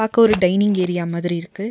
பாக்க ஒரு dining area மாதிரி இருக்கு.